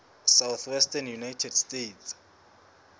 southwestern united states